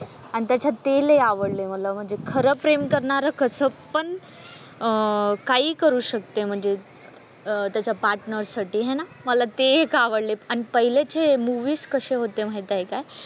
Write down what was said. आणि त्याच्यात ते लय आवडल मला म्हणजे खरं प्रेम करणार कस पण अह काही करू शकते म्हणजे अह त्याच्या पार्टनर साठी हा ना मला ते एक आवडलं आणि पहिले ते मुव्हीज कसे होते माहिते का,